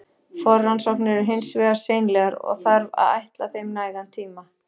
Forrannsóknir eru hins vegar seinlegar, og þarf að ætla þeim nægan tíma.